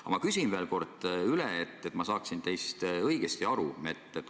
Aga ma küsin veel kord üle, et ma saaksin teist õigesti aru.